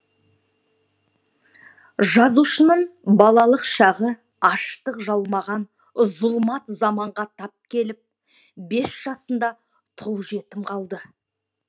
жазушының балалық шағы аштық жалмаған зұлмат заманға тап келіп бес жасында тұл жетім қалды